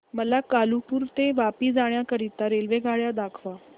मला कालुपुर ते वापी जाण्या करीता रेल्वेगाड्या दाखवा